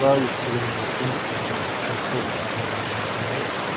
Hazırda Yekaterinburqun Kolçova hava limanındayıq.